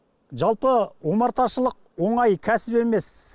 жалпы омарташылық оңай кәсіп емес